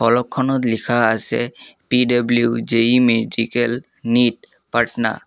ফলকখনত লিখা আছে পি_ডাব্লিউ যেই মেডিকেল নিট পাটনা।